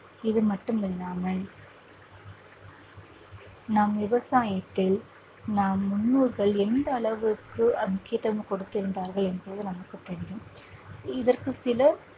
இது மட்டும் இல்லாமல் நம் விவசாயத்தை நம் முன்னோர்கள் எந்த அளவிற்கு முக்கியத்துவம் கொடுத்திருந்தார்கள் என்பது நமக்குத் தெரியும் இதற்கு சில